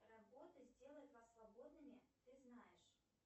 работа сделает вас свободными ты знаешь